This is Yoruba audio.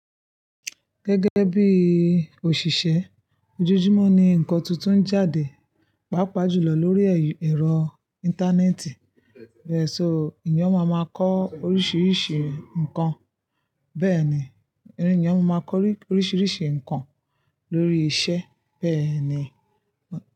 Gẹ́gẹ́ bí òṣìṣẹ́, ojoojúmọ́ ni ǹkan tuntun ń jáde, pàápàá jùlọ lórí ẹ̀rọ Íńtánẹ́ẹ̀tì. So, eyan máa máa kọ́ oríṣiríṣi nǹkan. Bẹ́ẹ̀ ni, ọmọ eyan máa ma kọ oríṣiríṣi nǹkan lórí iṣẹ́ bẹ́ẹ̀ ni.